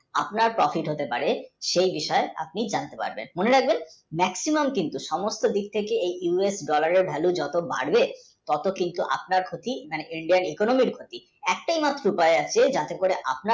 আপনার profit হতে পারে সেই বিষয় আপনি জানতে পারবেন মনে হয় maximum সমস্যা হচ্ছে এই US dollar এর value যতই বাড়বে ততই আপনার ক্ষতি তাই Indian, economy র ক্ষতিএকটাই মাত্র উপায় আছে যাতে করে